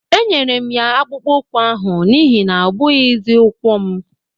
Enyere m ya akpụkpọ ụkwụ ahụ n'ihi na ọ bụghịzi ukwu m